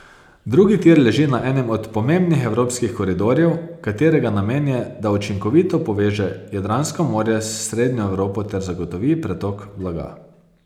Drugi tir leži na enem od pomembnih evropskih koridorjev, katerega namen je, da učinkovito poveže Jadransko morje s srednjo Evropo ter zagotovi pretok blaga.